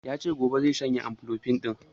Yace gobe zai shanye amlodipine ɗin